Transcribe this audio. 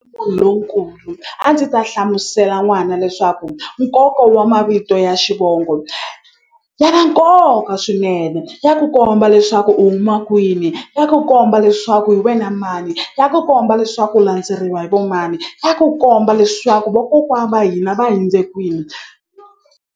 lonkulu a ndzi ta hlamusela n'wana leswaku nkoka wa mavito ya xivongo ya na nkoka swinene ya ku komba leswaku u huma kwini ya ku komba leswaku hi wena mani ya ku komba leswaku u landzeriwa hi vo mani ya ku komba leswaku vokokwa va hina va hundze kwini.